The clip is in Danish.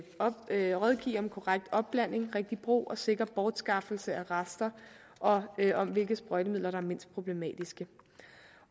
kan rådgive om korrekt opblanding rigtig brug og sikker bortskaffelse af rester og om hvilke sprøjtemidler der er mindst problematiske